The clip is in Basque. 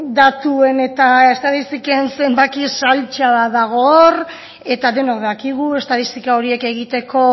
datuen eta estatistiken zenbaki saltsa bat dago hor eta denok dakigu estatistika horiek egiteko